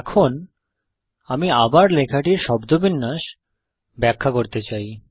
এখন আমি আবার লেখাটির শব্দবিন্যাসসিনট্যাক্স ব্যাখ্যা করতে চাই